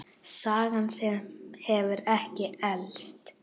Saga sem hefur ekki elst.